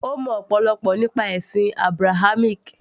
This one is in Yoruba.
ó mọ ọ̀pọ̀lọpọ̀ ǹkan nípa ẹ̀sìn Abrahamic